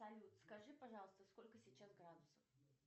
салют скажи пожалуйста сколько сейчас градусов